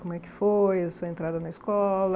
Como é que foi a sua entrada na escola?